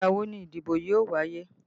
Ìgbà wo ni ìdìbò yóò wáyé?